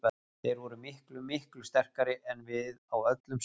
Þeir voru miklu, miklu sterkari en við á öllum sviðum.